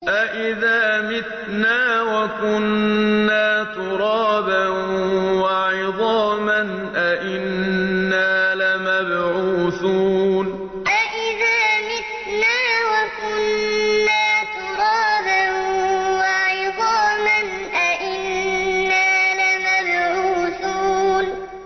أَإِذَا مِتْنَا وَكُنَّا تُرَابًا وَعِظَامًا أَإِنَّا لَمَبْعُوثُونَ أَإِذَا مِتْنَا وَكُنَّا تُرَابًا وَعِظَامًا أَإِنَّا لَمَبْعُوثُونَ